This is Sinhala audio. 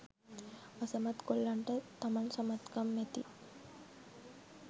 අසමත් කොල්ලන්ට තමන් සමත්කම් ඇති